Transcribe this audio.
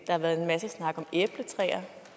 har været en masse snak om æbletræer og